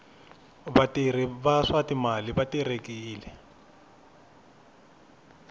vatirhi va swa timali va terekile